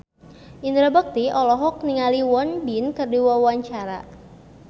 Indra Bekti olohok ningali Won Bin keur diwawancara